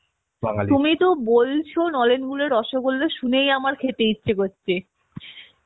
তুমি তো বলছো নলেন গুড়ের রসগোল্লা শুনেই আমার খেতে ইচ্ছে করছে